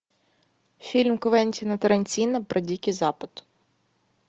фильм квентина тарантино про дикий запад